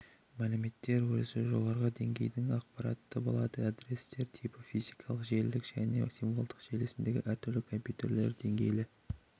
мәліметтер өрісі жоғарғы деңгейдің ақпараты болады адрестер типі физикалық желілік және символдық желісіндегі әр компьютердің деңгейлі